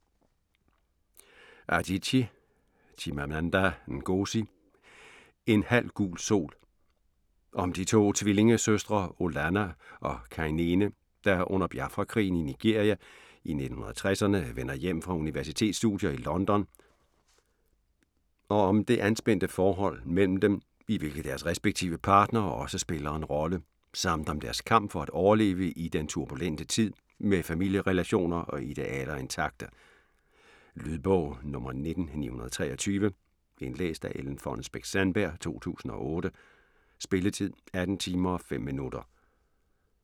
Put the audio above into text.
Adichie, Chimamanda Ngozi: En halv gul sol Om de to tvillingesøstre Olanna og Kainene, der under Biafra-krigen i Nigeria i 1960'erne vender hjem fra universitetsstudier i London og om det anspændte forhold imellem dem, i hvilket deres respektive partnere også spiller en rolle, samt om deres kamp for at overleve i den turbulente tid med familierelationer og idealer intakte. Lydbog 17923 Indlæst af Ellen Fonnesbech-Sandberg, 2008. Spilletid: 18 timer, 5 minutter.